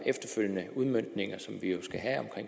efterfølgende udmøntning som vi jo skal have af